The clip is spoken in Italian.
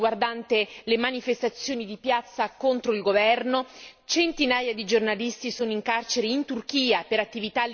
centinaia di giornalisti sono in carcere in Turchia per attività legate al giornalismo e accusati invece di altre pene